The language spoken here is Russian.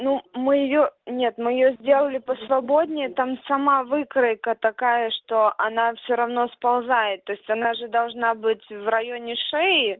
ну мы её нет мы её сделали по свободнее там сама выкройка такая что она все равно сползает то есть она же должна быть в районе шеи